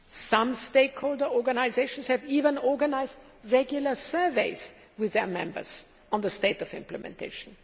Some stakeholder organisations have even organised regular surveys with their members on the state of implementation.